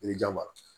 Yirijaba